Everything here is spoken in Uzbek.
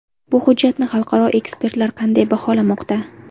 Bu hujjatni xalqaro ekspertlar qanday baholamoqda?